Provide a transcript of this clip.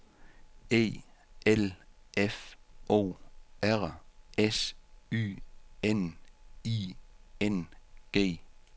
E L F O R S Y N I N G